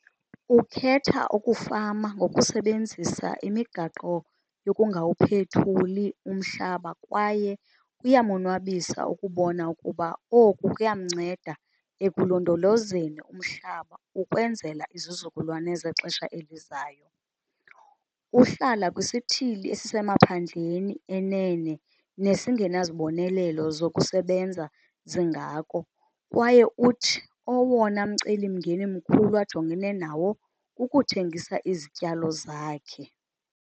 Ukhetha ukufama ngokusebenzisa imigaqo yokungawuphethuli umhlaba kwaye kuyamonwabisa ukubona ukuba oku kuyamnceda ekulondolozeni umhlaba ukwenzela izizukulwane zexesha elizayo. Uhlala kwisithili esisemaphandleni enene nesingenazibonelelo zokusebenza zingako kwaye uthi owona mcelimngeni mkhulu ajongene nawo kukuthengisa izityalo zakhe.